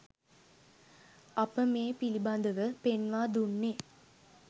අප මේ පිළිබඳ ව පෙන්වා දුන්නේ